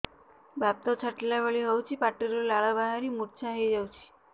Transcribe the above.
ବାତ ଛାଟିଲା ଭଳି ହଉଚି ପାଟିରୁ ଲାଳ ବାହାରି ମୁର୍ଚ୍ଛା ହେଇଯାଉଛି